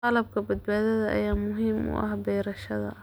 Qalabka badbaadada ayaa muhiim u ah beerashada.